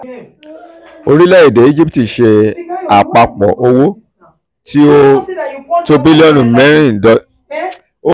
orílẹ̀-èdè íjíbítì ṣe àpapọ̀ owó tí ó um tó bílíọ̀nù mẹ́rin dọ́là um ní ilé-ìtajà ìnáwó ti ireland